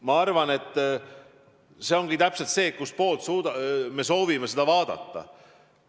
Ma arvan, et asi ongi täpselt selles, kustpoolt me soovime seda vaadata.